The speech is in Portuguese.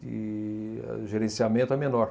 de gerenciamento é menor.